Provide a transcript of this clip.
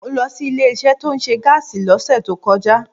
Mo lọ sí ilé isé tí ó nse gáàsì ló sè tó kọjá